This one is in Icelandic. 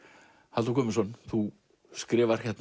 Halldór Guðmundsson þú skrifar